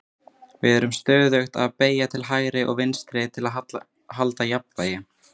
við erum stöðugt að beygja til hægri og vinstri til að halda jafnvægi